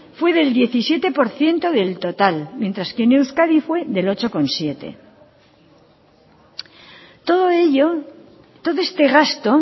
fue del diecisiete por ciento del total mientras que en euskadi fue del ocho coma siete todo ello todo este gasto